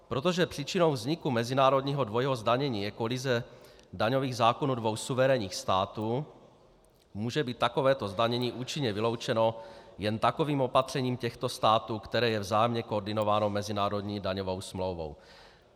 Protože příčinou vzniku mezinárodního dvojího zdanění je kolize daňových zákonů dvou suverénních států, může být takovéto zdanění účinně vyloučeno jen takovým opatřením těchto států, které je vzájemně koordinováno mezinárodní daňovou smlouvou.